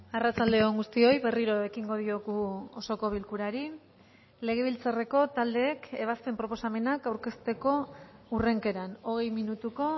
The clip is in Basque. arratsalde on guztioi berriro ekingo diogu osoko bilkurari legebiltzarreko taldeek ebazpen proposamenak aurkezteko hurrenkeran hogei minutuko